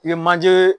I ye manjeee